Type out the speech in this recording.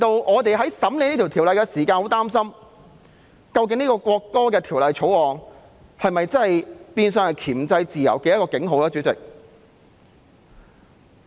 我們在審議《條例草案》時感到相當擔心，《條例草案》究竟會否變成箝制自由的警號呢？